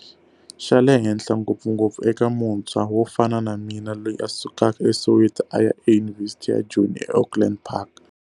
Xa le henhla, ngopfungopfu eka muntshwa wo fana na mina loyi a sukaka eSoweto a ya Yunivhesithi ya Joni eAukland Park.